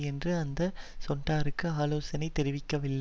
என்று எந்த செனட்டரும் ஆலோசனையை தெரிவிக்கவில்லை